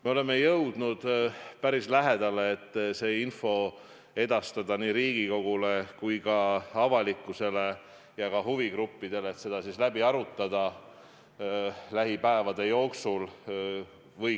Me oleme jõudnud päris lähedale sellele, et see info edastada nii Riigikogule kui ka avalikkusele ja huvigruppidele ning see läbi arutada lähipäevade jooksul.